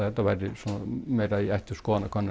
þetta væri meira í ætt við skoðanakönnun